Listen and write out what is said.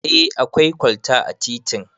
Eh akwai kwalta a titin